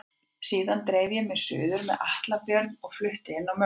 Síðan dreif ég mig suður með Atla Björn og flutti inn á mömmu.